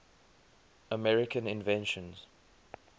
american inventions